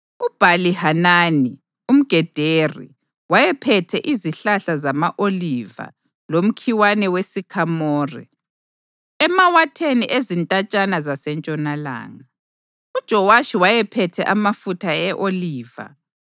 UBhali-Hanani umGederi wayephethe izihlahla zama-oliva lomkhiwane wesikhamore emawatheni ezintatshana zasentshonalanga. UJowashi wayephethe amafutha e-oliva.